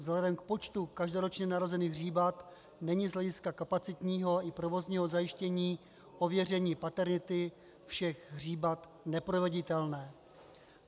Vzhledem k počtu každoročně narozených hříbat není z hlediska kapacitního i provozního zajištění ověření paternity všech hříbat neproveditelné.